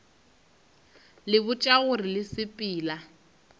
le botša gore le sepela